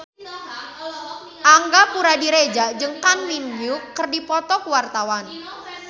Angga Puradiredja jeung Kang Min Hyuk keur dipoto ku wartawan